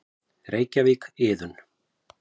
Reykjavík: Iðunn.